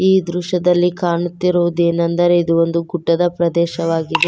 ಈ ದೃಶ್ಯದಲ್ಲಿ ಕಾಣುತ್ತಿರುವುದೇನೆಂದರೆ ಇದು ಒಂದು ಗುಡ್ಡದ ಪ್ರದೇಶವಾಗಿದೆ.